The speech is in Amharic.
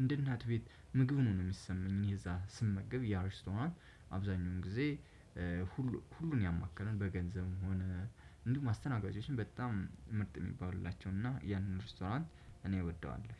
እንደ እናት ቤት ምግብ ነው የሚሰማኝ እኔ እዛ ስመገብ ያ ሪስቶናል አብዛኛውን ጊዜ። ሁሉን ያማከለን በገንዘብ ሆነ እንዲሁም አስተናጋጆቹም በጣም ምርጥ የሚባሉ ናቸው። እና ያንን ሬስቶራንት እኔ እወደዋለሁ።